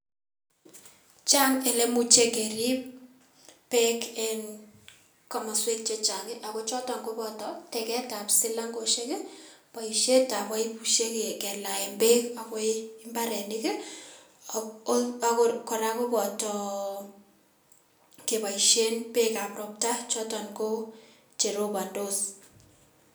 Chang' ilemuche kerip beek en komosuek chechang' ii ago choton ko teketab silangosiek ii, boisietab baibusiek kelaen beek akoi mbarenik ii ak kora koboto keboisien bekab ropta choton ko cheropondos.